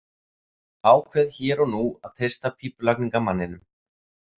Ákveð hér og nú að treysta pípulagningamanninum.